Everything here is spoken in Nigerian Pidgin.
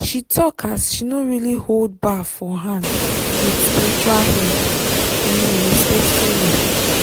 she talk as she no really hold bar for hand with spiritual head in a respectful way